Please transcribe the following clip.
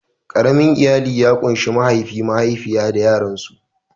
Ƙaramin iyali ya kunshi mahaifi, mahaifiya da yaransu.